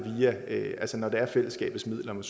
når det er fællesskabets midler om